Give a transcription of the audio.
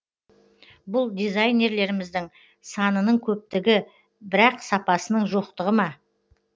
бұл дизайнерлеріміздің санының көптігі бірақ сапасының жоқтығы ма